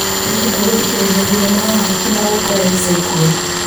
Ndĩrenda gũthikĩrĩria thinema ya Akĩ na ũkwa ya ica ikuhĩ .